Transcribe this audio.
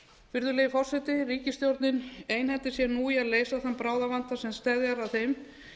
virðulegi forseti ríkisstjórnin einhendir sér nú í að leysa þann bráðavanda sem steðjar að þeim